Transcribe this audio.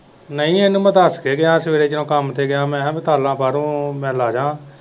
ਨਹੀਂ ਉਹਨੂੰ ਮੈਂ ਦਸ ਕੇ ਗਿਆ ਹੀ ਸਵੇਰੇ ਜਦੋਂ ਮੈਂ ਕੰਮ ਤੇ ਗਿਆ ਹੀ ਮੈਂ ਕਿਹਾ ਮਸਾਲਾ ਕਰ ਮੈਂ ਲਾਦਾਂ।